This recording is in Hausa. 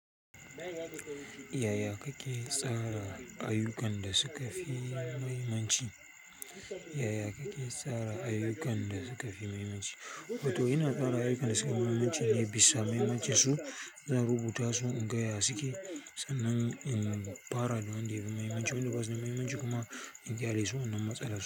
Yaya kake tsara ayyukan da suka fi muhimmanci? Yaya kake tsara ayyukan da suka fi muhimmanci? Wato ina tsara ayyukan da suka fi mahimmanci ne bisa mahimmancinsu. Ina rubuta su in ga ya su ke sannan in fara da wanda ya fi mahimmanci. Wanda ba su da mahimmanci kuma in ƙyale su wannan matsalar su.